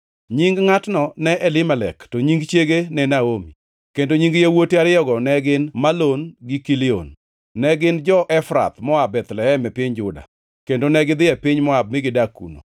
Nying ngʼatno ne Elimelek, to nying chiege ne Naomi, kendo nying yawuote ariyogo ne gin Malon gi Kilion. Ne gin jo-Efrath moa Bethlehem e piny Juda. Kendo negidhi e piny Moab mi gidak kuno.